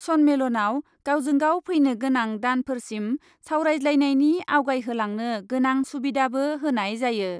सन्मेलनआव गावजों गाव फैनो गोनां दानफोरसिम सावरायज्लायनायनि आवगायहोलांनो गोनां सुबिधाबो होनाय जायो ।